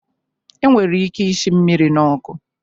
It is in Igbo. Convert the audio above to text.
E nwere ike ishi mmiri n'ọkụ